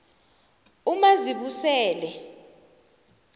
umazibusele